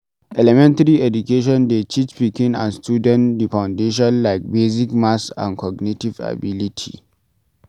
elementary education dey teach pikin and student di foundation like basic math and cognitive ability